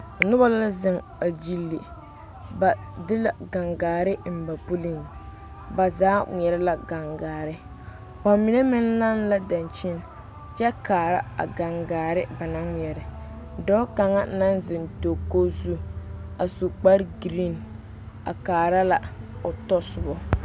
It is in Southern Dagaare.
Noba la zeŋ a gyile ka gangaare biŋ ba pili bamine ŋmɛɛre la gangaare bamine meŋ lanne la dankyini kaare a gangaare dɔɔ kaŋa naŋ zeŋ dakogi zu su kpare gari a kaare la o tasoba.